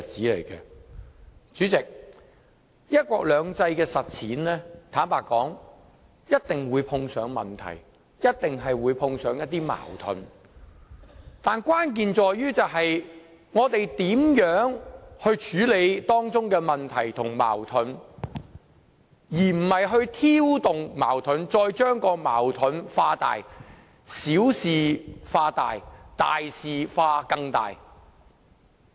坦白說，實踐"一國兩制"一定會碰上問題和矛盾，關鍵在於我們如何處理當中的問題和矛盾，而不是挑動矛盾，再把矛盾化大，小事化大，大事化更大。